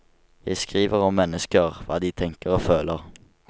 Jeg skriver om mennesker, hva de tenker og føler.